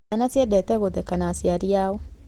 Ciana ciendete gũtheka na aciari ao.